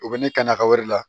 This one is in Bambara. U bɛ ne ka nakɔ wɛrɛ la